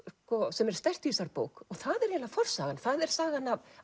sem er sterkt í þessari bók það er forsagan það er sagan af